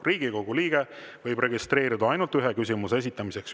Riigikogu liige võib registreeruda ainult ühe küsimuse esitamiseks.